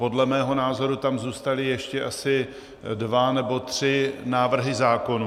Podle mého názoru tam zůstaly ještě asi dva nebo tři návrhy zákonů.